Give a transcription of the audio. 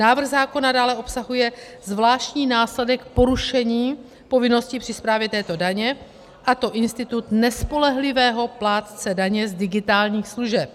Návrh zákona dále obsahuje zvláštní následek porušení povinnosti při správě této daně, a to institut nespolehlivého plátce daně z digitálních služeb.